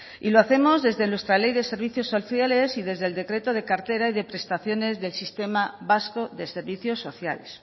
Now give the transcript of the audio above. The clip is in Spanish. y lo hacemos desde nuestra ley de servicios sociales y desde el decreto de cartera y de prestaciones del sistema vasco de servicios sociales